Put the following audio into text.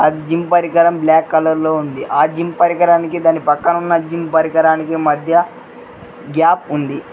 ఆ జీమ్ పరికరం black colour లో ఉంది జిమ్ పరికరానికి దాని పక్కన ఉన్న పరికరానికి మధ్య గ్యాప్ ఉంది.